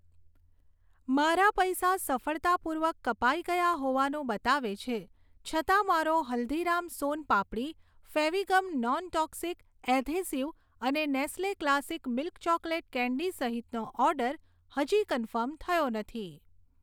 મારા પૈસા સફળતાપૂર્વક કપાઈ ગયા હોવાનું બતાવે છે છતાં મારો હલ્દીરામ સોન પાપડી, ફેવિગમ નોનટોક્સિક એધેસિવ અને Nestle classic milk chocolate candy સહિતનો ઑર્ડર હજી કન્ફર્મ થયો નથી